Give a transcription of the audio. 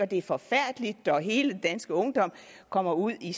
det er forfærdeligt og hele den danske ungdom kommer ud i